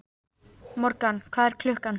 Morgan, hvað er klukkan?